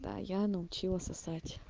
да я научила сосать